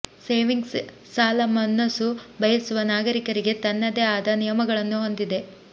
savings ಸಾಲ ಮನಸ್ಸು ಬಯಸುವ ನಾಗರಿಕರಿಗೆ ತನ್ನದೇ ಆದ ನಿಯಮಗಳನ್ನು ಹೊಂದಿದೆ